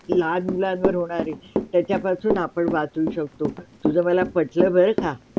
लहान मुलांवर होणारी त्याच्यापासून आपुन वाचू शकतो तुझा माला पटल बरं का.